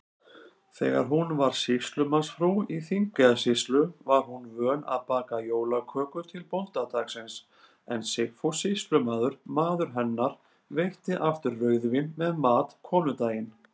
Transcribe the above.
Þegar hún var sýslumannsfrú í Þingeyjarsýslu, var hún vön að baka jólaköku til bóndadagsins, en Sigfús sýslumaður, maður hennar, veitti aftur rauðvín með mat konudaginn.